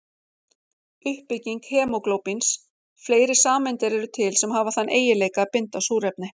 Uppbygging hemóglóbíns Fleiri sameindir eru til sem hafa þann eiginleika að binda súrefni.